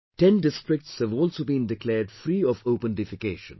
10 districts have also been declared free of open defecation